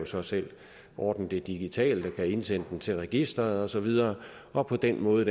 så selv ordne det digitalt og kan indsende den til registeret og så videre og på den måde